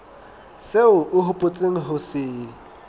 seo o hopotseng ho se